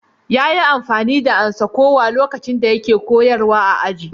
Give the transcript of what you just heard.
Yayi amfani da amsa-kuwwa lokacin da yake koyarwa a aji.